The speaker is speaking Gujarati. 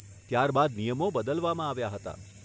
ત્યાર બાદ નિયમો બદલવામાં આવ્યા હતા.